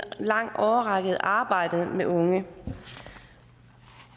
lang årrække arbejdet med unge